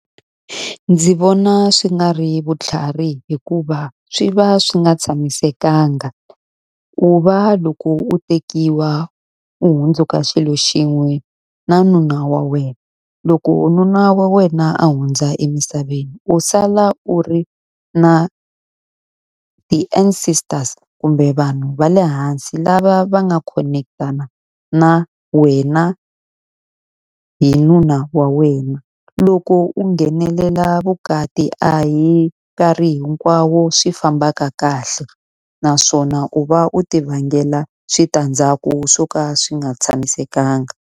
Ndzi vona swi nga ri vutlhari hikuva swi va swi nga tshamisekanga. Ku va loko u tekiwa u hundzuka xilo xin'we na nuna wa wena, loko nuna wa wena a hundza emisaveni u sala u ri na ti-ancestors kumbe vanhu va le hansi lava va nga khonekitana na wena hi nuna wa wena. Loko u nghenelela vukati a hi nkarhi hinkwawo swi fambaka kahle, naswona u va u ti vangela switandzhaku swo ka swi nga tshamisekanga.